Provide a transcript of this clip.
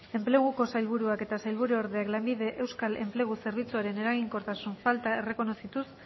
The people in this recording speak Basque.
enpleguko sailburuak eta sailburuordeak lanbide euskal enplegu zerbitzuaren eraginkortasun falta errekonozituz